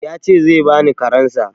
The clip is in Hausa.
Ya ce zai bani karensa.